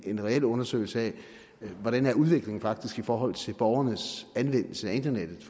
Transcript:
en reel undersøgelse af hvordan udviklingen faktisk er i forhold til borgernes anvendelse af internettet